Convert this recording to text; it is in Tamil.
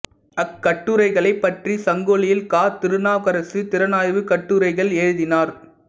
அக்கட்டுரைகளைப் பற்றி சங்கொலியில் க திருநாவுக்கரசு திறனாய்வுக் கட்டுரைகள் எழுதினார்